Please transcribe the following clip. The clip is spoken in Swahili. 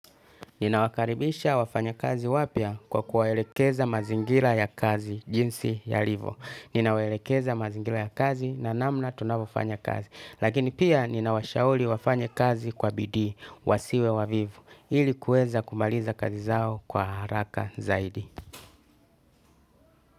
Nina wakaribisha wafanya kazi wapya kwa kuwelekeza mazingira ya kazi jinsi yalivo. Ninawaelekeza mazingira ya kazi na namna tunavofanya kazi. Lakini pia nina washauli wafanye kazi kwa bidii, wasiwe wavivu. Ili kueza kumaliza kazi zao kwa haraka zaidi.